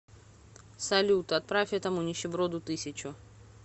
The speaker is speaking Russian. салют отправь этому нищеброду тысячу